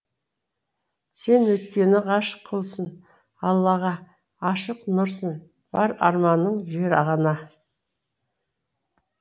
сен өйткені ғашық құлсың аллаға ашық нұрсың бар арманың жер ана